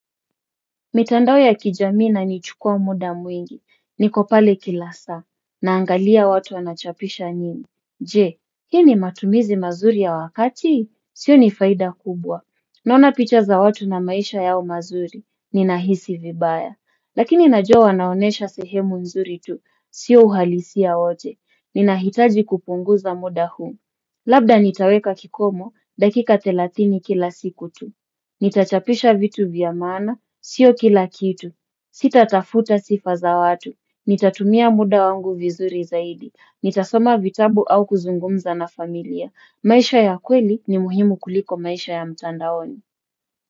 Mitandao ya kijamii inanichukua muda mwingi, niko pale kila saa, naangalia watu wanachapisha nini. Je, hii ni matumizi mazuri ya wakati? Sioni faida kubwa. Naona picha za watu na maisha yao mazuri, ninahisi vibaya. Lakini najua wanaonyesha sehemu nzuri tu, sio uhalisia wote, ninahitaji kupunguza muda huu. Labda nitaweka kikomo, dakika thelathini kila siku tu. Nitachapisha vitu vya maana, sio kila kitu. Sita tafuta sifa za watu. Nitatumia muda wangu vizuri zaidi. Nitasoma vitabu au kuzungumza na familia. Maisha ya kweli ni muhimu kuliko maisha ya mtandaoni.